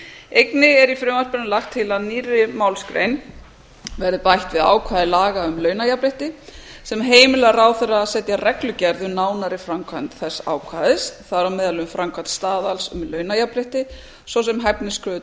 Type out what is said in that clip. einnig er í frumvarpinu lagt til að nýrri málsgrein verði bætt við ákvæði laga um launajafnrétti sem heimilar ráðherra að setja reglugerð við nánari framkvæmd þess ákvæðis þar á meðal um framkvæmd staðals um launajafnrétti svo sem hæfniskröfur